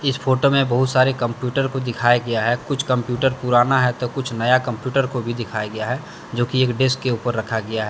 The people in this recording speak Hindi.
इस फोटो में बहुत सारे कंप्यूटर को दिखाया गया हैं कुछ कम्प्यूटर पुराना है तो कुछ नया कम्प्यूटर को भी दिखाया गया हैं जो कि एक डेस्क के ऊपर रखा गया हैं।